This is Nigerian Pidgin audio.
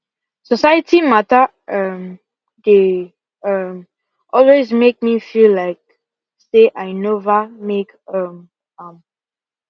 society matter um they um always make me feel like feel like say i nova make um am